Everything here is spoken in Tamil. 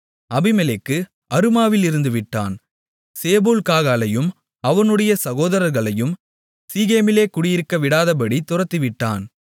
அபிமெலேக்கு அருமாவில் இருந்து விட்டான் சேபூல் காகாலையும் அவனுடைய சகோதரர்களையும் சீகேமிலே குடியிருக்கவிடாதபடி துரத்திவிட்டான்